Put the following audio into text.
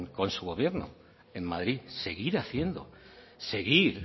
con su gobierno en madrid seguir haciendo seguir